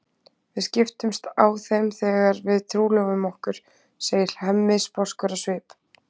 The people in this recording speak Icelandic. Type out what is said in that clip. Við skiptumst á þeim þegar við trúlofum okkur, segir Hemmi sposkur á svip.